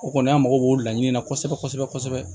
O kɔni an mago b'o laɲini na kosɛbɛ kosɛbɛ kosɛbɛ